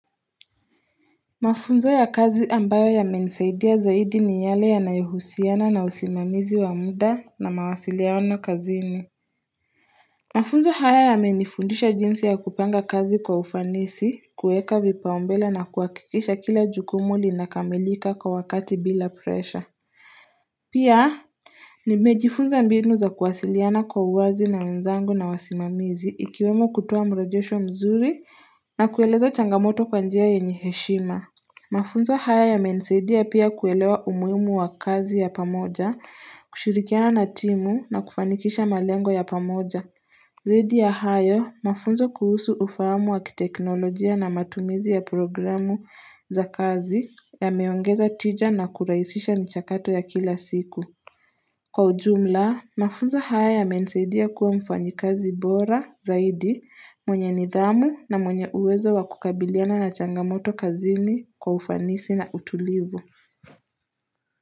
Mafunzo ya kazi ambayo yamenisaidia zaidi ni yale yanayohusiana na usimamizi wa muda na mawasiliano kazini. Mafunzo haya yamenifundisha jinsi ya kupanga kazi kwa ufanisi, kuweka vipaumbele na kuhakikisha kila jukumu linakamilika kwa wakati bila presha. Pia nimejifunza mbinu za kuwasiliana kwa uwazi na wenzangu na wasimamizi ikiwemo kutoa mrejesho mzuri na kueleza changamoto kwa njia yenye heshima. Mafunzo haya yamenisaidia pia kuelewa umuhimu wa kazi ya pamoja, kushirikiana na timu na kufanikisha malengo ya pamoja. Zaidi ya hayo, mafunzo kuhusu ufahamu wa kiteknolojia na matumizi ya programu za kazi yameongeza tija na kurahisisha michakato ya kila siku. Kwa ujumla, mafunzo haya yamenisaidia kuwa mfanyikazi bora zaidi mwenye nidhamu na mwenye uwezo wa kukabiliana na changamoto kazini kwa ufanisi na utulivu.